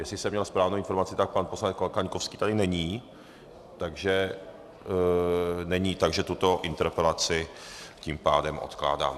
Jestli jsem měl správnou informaci, tak pan poslanec Kaňkovský tady není, takže tuto interpelaci tím pádem odkládám.